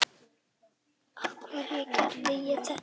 Af hverju ég gerði þetta.